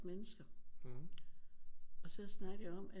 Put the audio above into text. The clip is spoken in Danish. Mennesker og så snakkede vi om at